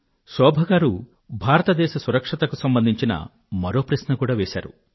శోభ గారు భారత దేశ భద్రతకు సంబంధించిన మరో ప్రశ్న కూడా వేశారు